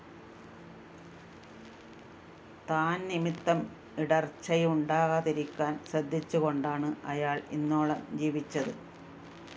താന്‍ നിമിത്തം ഇടര്‍ച്ചയുണ്ടാകാതിരിക്കാന്‍ ശ്രദ്ധിച്ചുകൊണ്ടാണ്‌ അയാള്‍ ഇന്നോളം ജീവിച്ചത്‌